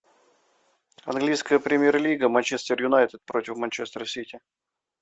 английская премьер лига манчестер юнайтед против манчестер сити